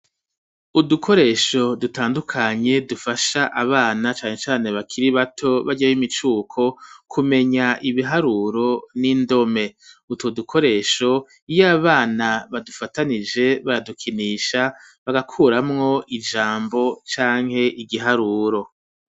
Udukoresho dutandukanye dufasha abana cane cane bakiri bato barya b'imicuko kumenya ibiharuro n'indome utwo dukoresho iyo abana badufatanije baradukinisha bagakuramwo ijambo canke igiharuro